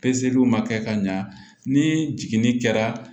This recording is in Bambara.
ma kɛ ka ɲa ni jiginni kɛra